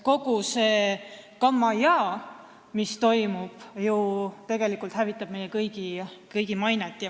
Kogu see kammajaa, mis toimub, hävitab ju meie kõigi mainet.